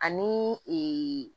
Ani